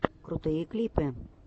крутые клипы